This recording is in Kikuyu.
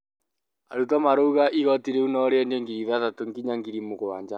arutwo marauga igotĩ rĩu no rĩendio ngiri ithathatu nginya ngiri mũgwanja